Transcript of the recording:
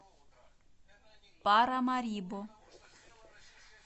парамарибо